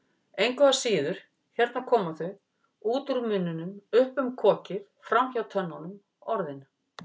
Engu að síður, hérna koma þau, út úr munninum, upp um kokið, framhjá tönnunum, Orðin.